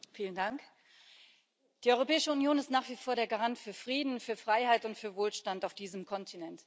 Frau Präsidentin! Die Europäische Union ist nach wie vor der Garant für Frieden, für Freiheit und für Wohlstand auf diesem Kontinent.